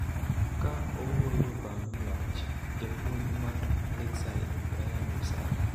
Ka owuoyo bang' loch, japuonj mar Lakeside Brian Lusaga